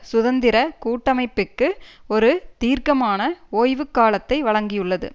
சுதந்திர கூட்டமைப்பிற்கு ஒரு தீர்க்கமான ஓய்வுக்காலத்தை வழங்கியுள்ளது